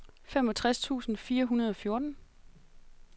femogtres tusind fire hundrede og fjorten